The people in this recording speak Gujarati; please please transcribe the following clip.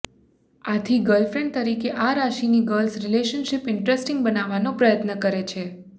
આથી ગર્લફ્રેન્ડ તરીકે આ રાશિની ગર્લ્સ રિલેશનશીપ ઇન્ટરેસ્ટિંગ બનાવવાનો પ્રયત્ન કરે છે